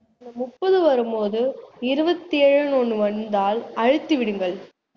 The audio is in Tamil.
அந்த முப்பது வரும் போது இருவத்தியேழுன்னு ஒண்ணு வந்தாள் அழுத்தி விடுங்கள்